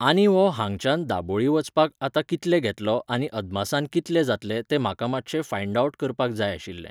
आनी हो हांगच्यान दाबोळी वचपाक आतां कितले घेतलो आनी अदमासान कितले जातले तें म्हाका मातशें फांयड ऑवट करपाक जाय आशिल्लें.